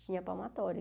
Tinha a palmatória.